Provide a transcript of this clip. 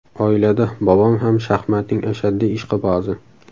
Oilada bobom ham shaxmatning ashaddiy ishqibozi.